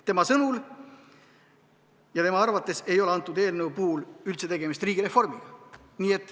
Tema sõnul ja tema arvates ei ole eelnõu puhul üldse tegemist riigireformiga.